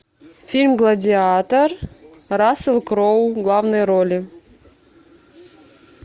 фильм гладиатор рассел кроу в главной роли